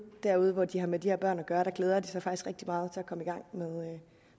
derude hvor de har med de her børn at gøre glæder de sig faktisk rigtig meget til at komme i gang